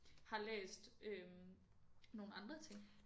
Har læst øh nogle andre ting